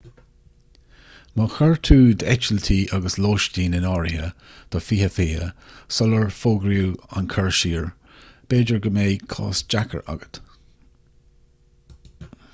má chuir tú d'eitiltí agus lóistín in áirithe do 2020 sular fógraíodh an cur siar b'fhéidir go mbeidh cás deacair agat